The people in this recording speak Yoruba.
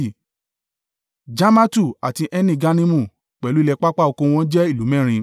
Jarmatu àti Eni-Gannimu, pẹ̀lú ilẹ̀ pápá oko wọ́n jẹ́ ìlú mẹ́rin.